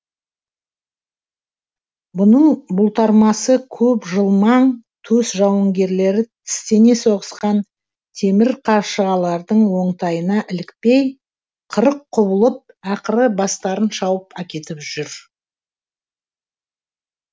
бұның бұлтармасы көп жылмаң төс жауынгерлері тістене соғысқан темір қаршығалардың оңтайына ілікпей қырық құбылып ақыры бастарын шауып әкетіп жүр